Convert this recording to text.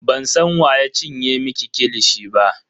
Bansan wa ya cinye miki kilishi ba.